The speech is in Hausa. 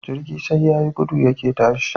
Jirgi sai yayi gudu yake tashi